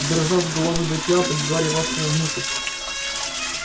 дрожа с головы до пят гарри вошёл внутрь